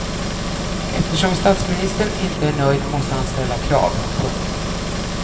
Eftersom statsministern inte är nöjd måste han ställa krav. punkt